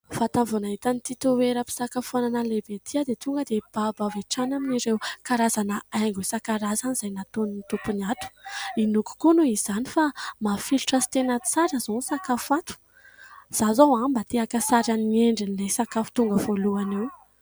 Vatany vao nahita ity toeram-pisakafoanana lehibe ity aho dia tonga dia babo avy atrany amin'ireo karazana haingo isa-karazany izay nataon'ny tompony ato. Inoko koa noho izany fa mafilotra sy tena tsara zao ny sakafo ato izaho zao mba tia haka sarin'ny endrin'ilay sakafo tonga voalohana eo.